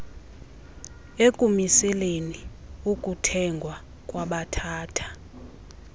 ekumiseleni ukuthengwa kwabathatha